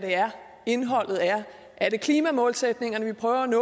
indholdet er er det klimamålsætningerne vi prøver at